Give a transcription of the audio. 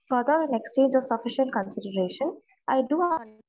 exchange of sufficient configuration ഇ ഡോ